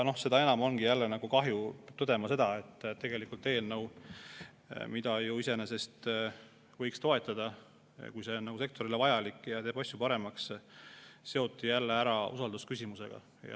Seda enam kahju ongi tõdeda seda, et tegelikult võiks eelnõu iseenesest toetada, kui see sektorile vajalik on ja teeb asju paremaks, aga see seoti jälle usaldusküsimusega.